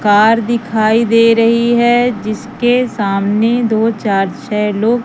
car दिखाई दे रही है जिसके सामने दो चार छे लोग--